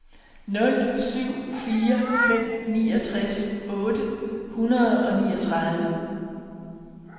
nul syv fire fem niogtres otte hundrede og niogtredive